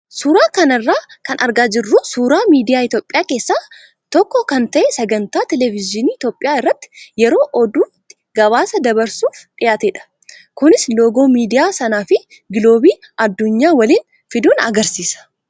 Suuraa kana irraa kan argaa jirru suuraa miidiyaa Itoophiyaa keessaa keessaa tokko kan ta'e sagantaa televezyiinii Itoophiyaa irratti yeroo oduutti gabaasa darbuuf dhiyaatedha. Kunis loogoo miidiyaa sanaa fi giloobii addunyaa waliin fiduun agarsiisa.